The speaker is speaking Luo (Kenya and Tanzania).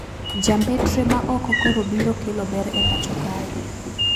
Jambetre maoko koro biro kelo ber e pacho kae